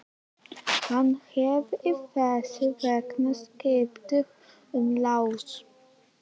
Hann hefði þess vegna skipt um lás.